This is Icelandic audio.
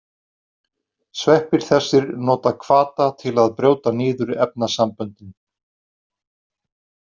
Sveppir þessir nota hvata til að brjóta niður efnasamböndin.